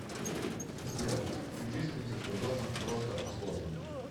сбер включи строительство дома просто о сложном